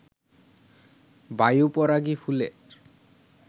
বায়ু পরাগী ফুলের